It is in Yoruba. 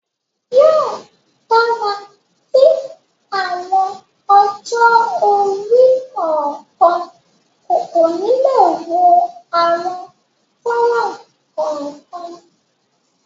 Yóò dára tí àwọn ọjọ́-orí kọ̀ọ̀kan kò ni le wo àwọn fánrán kọ̀ọ̀kan.